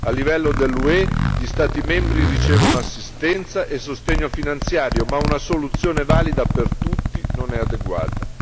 A livello dell'UE, gli Stati membri ricevono assistenza e sostegno finanziario, ma una soluzione valida per tutti non è adeguata.